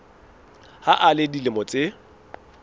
ha a le dilemo tse